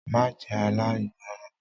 Má jẹ́ aláìgbọràn!